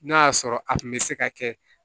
N'a y'a sɔrɔ a kun bɛ se ka kɛ